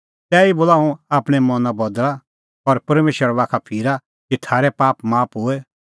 तैही बोला हुंह आपणैं मना बदल़ा और परमेशरा बाखा फिरा कि थारै पाप माफ होए